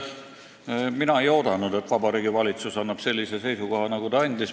Kõigepealt, mina ei oodanud, et valitsus annab sellise seisukoha, nagu ta andis.